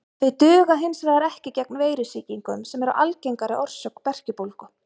Þau duga hins vegar ekki gegn veirusýkingum sem eru algengari orsök berkjubólgu.